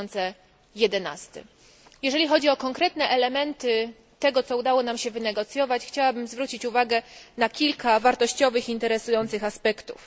2011. Jeżeli chodzi o konkretne elementy tego, co udało nam się wynegocjować, chciałabym zwrócić uwagę na kilka wartościowych i interesujących aspektów.